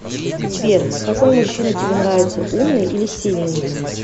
сбер какой мужчина тебе нравится умный или сильный